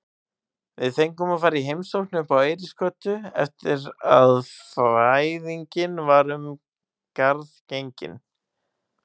Við fengum að fara í heimsókn uppá Eiríksgötu eftir að fæðingin var um garð gengin.